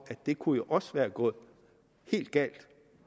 det kunne jo også være gået helt galt